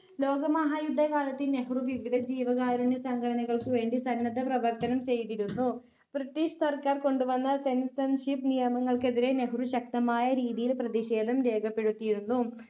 ലോകമഹായുദ്ധ കാലത്ത് നെഹ്‌റു വിവിധ ജീവകാരുണ്യ സംഘടനകൾക്ക് വേണ്ടി സന്നദ്ധ പ്രവർത്തനം ചെയ്തിരുന്നു british സർക്കാർ കൊണ്ടുവന്ന censorship നിയമങ്ങൾക്കെതിരെ നെഹ്‌റു ശക്തമായ രീതിയിൽ പ്രതിഷേധം രേഖപ്പെടുത്തിയിരുന്നു